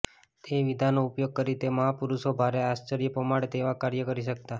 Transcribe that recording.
એ વિદ્યાનો ઉપયોગ કરી તે મહાપુરુષો ભારે આશ્ચર્ય પમાડે તેવા કાર્યો કરી શકતા